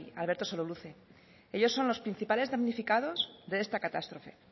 alberto sololuze ellos son los principales damnificados de esta catástrofe